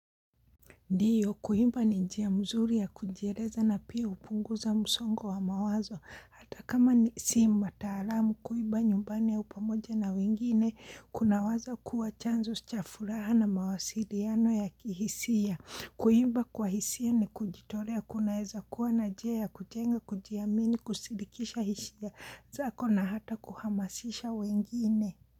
Ndiyo, kuimba ni njia mzuri ya kujieleza na pia hupunguza msongo wa mawazo. Hata kama ni si mtaalamu kuimba nyumbani ya upamoja na wengine, kuna waza kuwa chanzo chafuraha na mawasiliano ya kihisia. Kuimba kwa hisia ni kujitolea kunaeza kuwa na njia ya kujenga kujiamini kusindikisha hisia zako na hata kuhamasisha wengine.